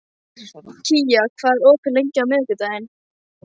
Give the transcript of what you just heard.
Kaía, hvað er opið lengi á miðvikudaginn?